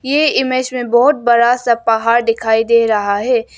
ये इमेज में बहोत बड़ा सा पहाड़ दिखाई दे रहा है।